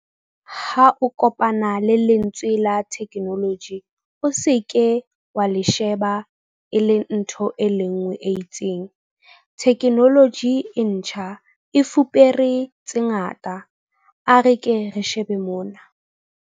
Ha o kopana le lentswe la theknoloji, o se ke wa le sheba e le ntho e nngwe e itseng. Theknoloji e ntjha e fupere tse ngata. A re ke re shebe mona.